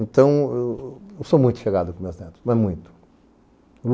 Então, eu sou muito chegado com meus netos, mas muito.